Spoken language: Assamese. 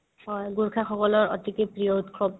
হয় গোৰাসাসকলৰ অতিকে প্ৰিয় উৎসৱ